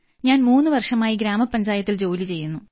ഞാൻ മൂന്ന് വർഷമായി ഗ്രാമപഞ്ചായത്തിൽ ജോലി ചെയ്യുന്നു